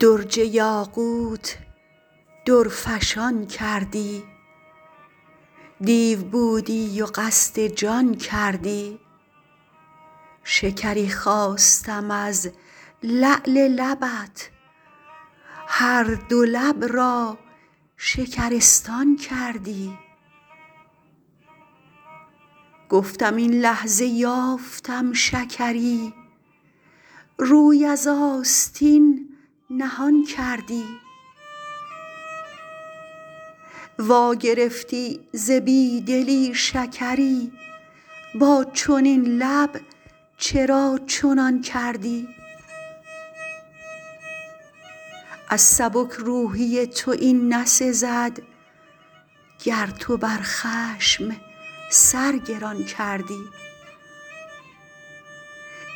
درج یاقوت درفشان کردی دیو بودی و قصد جان کردی شکری خواستم از لعل لبت هر دو لب را شکرستان کردی گفتم این لحظه یافتم شکری روی از آستین نهان کردی وا گرفتی ز بیدلی شکری با چنین لب چرا چنان کردی از سبک روحی تو این نسزد گر تو بر خشم سر گران کردی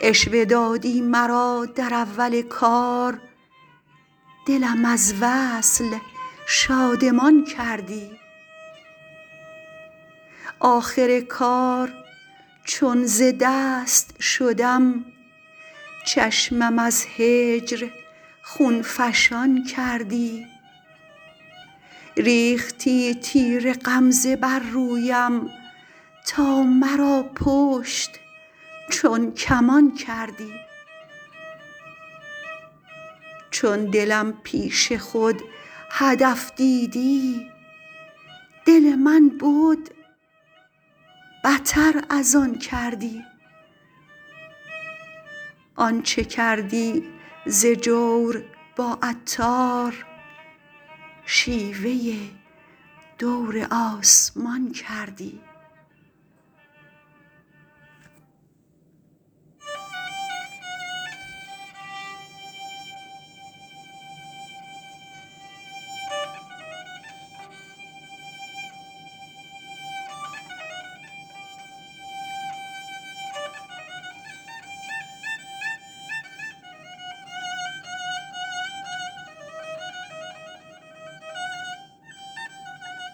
عشوه دادی مرا در اول کار دلم از وصل شادمان کردی آخر کار چون ز دست شدم چشمم از هجر خون فشان کردی ریختی تیر غمزه بر رویم تا مرا پشت چون کمان کردی چون دلم پیش خود هدف دیدی دل من بد بتر از آن کردی آن چه کردی ز جور با عطار شیوه دور آسمان کردی